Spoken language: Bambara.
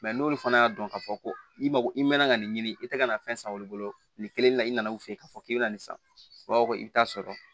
n'olu fana y'a dɔn k'a fɔ ko i mako i mɛnna ka nin ɲini i tɛ ka na fɛn san olu bolo nin kelen na i nana u fɛ yen k'a fɔ k'i bɛ na nin san wa i bi taa sɔrɔ